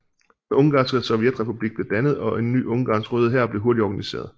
Den Ungarske sovjet republik blev dannet og en ny Ungarns røde hær blev hurtigt organiseret